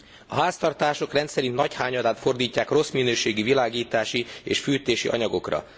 A háztartások rendszerint jövedelmük nagy hányadát fordítják rossz minőségű világítási és fűtési anyagokra.